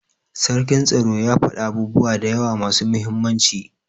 sarkin tsaro ya fada abubuwa dayawa masu muhimmanci.